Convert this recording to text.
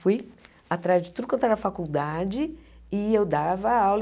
Fui atrás de tudo quanto era faculdade e eu dava aula.